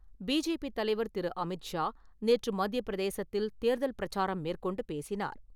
BJP தலைவர் திரு அமித் ஷா, நேற்று மத்திய பிரதேசத்தில் தேர்தல் பிரச்சாரம் மேற்கொண்டு பேசினார்.